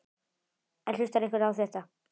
En hlustar einhver á þetta?